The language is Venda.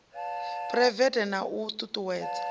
phuraivete na u ṱu ṱuwedza